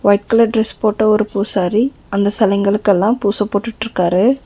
Red colour dress போட்ட ஒரு பூசாரி அந்த செலைங்களுக்கெல்லா பூச போட்டுட்ருக்காரு.